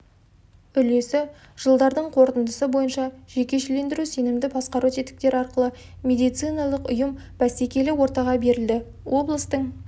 үлесі жылдардың қорытындысы бойынша жекешелендіру сенімді басқару тетіктері арқылы медициналық ұйым бәсекелі ортаға берілді облыстың